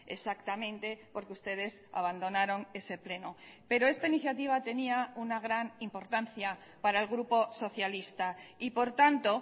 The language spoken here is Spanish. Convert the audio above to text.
exactamente porque ustedes abandonaron ese pleno pero esta iniciativa tenía una gran importancia para el grupo socialista y por tanto